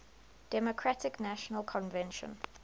democratic national convention